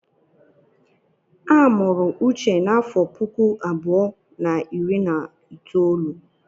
A mụrụ n'afọ puku abụọ na iri na itoolu.